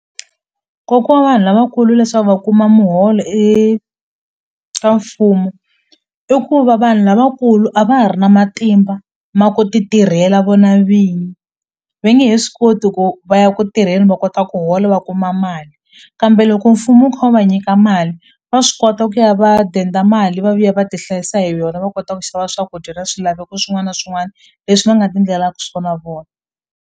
Nkoka wa vanhu lavakulu leswaku va kuma muholo eka mfumo i ku va vanhu lavakulu a va ha ri na matimba ma ku ti tirhela vona vinyi ve nge he swi koti ku va ya ku tirheni va kota ku hola va kuma mali kambe loko mfumo wu kha wu va nyika mali va swi kota ku ya va denda mali va vuya va ti hlayisa hi yona va kota ku xava swakudya na swilaveko swin'wana na swin'wana leswi va nga ti ndlelaku swona vona.